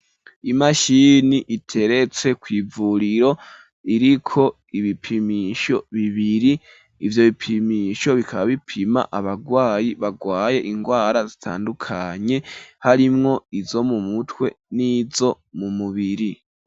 Imashini, iteretse kw'ivuriro, iriko ibipimisho bibiri; ivyo bipimisho, bikaba bipima abagwayi, bagwaye ingwara, zitandukanye, harimwo izo mu mutwe, n'izo mu mubiri.